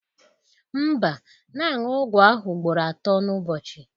Mba, na-aṅụ ọgwụ ahụ ugboro atọ n'ụbọchị